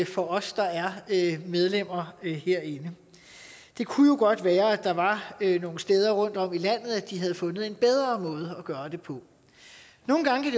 for os der er medlemmer herinde det kunne jo godt være at der var nogle steder rundtom i landet hvor de havde fundet en bedre måde at gøre det på nogle gange kan